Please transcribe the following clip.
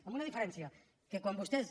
amb una diferència que quan vostès